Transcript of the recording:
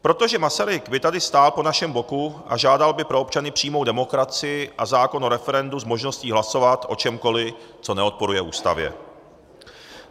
Protože Masaryk by tady stál po našem boku a žádal by pro občany přímou demokracii a zákon o referendu s možností hlasovat o čemkoliv, co neodporuje Ústavě.